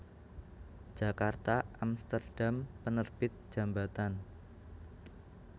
Djakarta Amsterdam Penerbit Djambatan